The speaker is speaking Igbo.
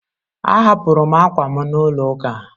Ahapụrụ m ákwà m n'ụlọ ụka